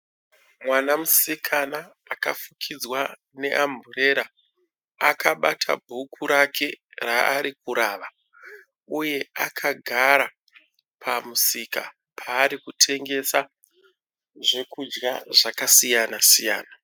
Mwana musikana akafukidzwa neamburera akabata bhuku rake raarikurava, uye akagara pamusika paarikutengesa zvokudya zvakasiyana siyana.,